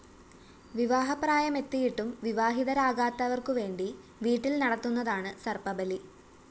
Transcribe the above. വിവാഹപ്രായമെത്തിയിട്ടും വിവാഹിതരാകാത്തവര്‍ക്കുവേണ്ടി വീട്ടില്‍ നടത്തുന്നതാണ് സര്‍പ്പബലി